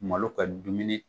Malo ka dumuni